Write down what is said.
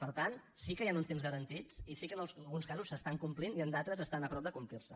per tant sí que hi han uns temps garantits i sí que en alguns casos s’estan complint i en d’altres estan a prop de complir se